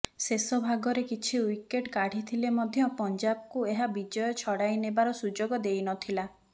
ଶେଷ ଭାଗରେ କିଛି ୱିକେଟ୍ କାଢ଼ିଥିଲେ ମଧ୍ୟ ପଞ୍ଜାବକୁ ଏହା ବିଜୟ ଛଡ଼ାଇ ନେବାର ସୁଯୋଗ ଦେଇନଥିଲା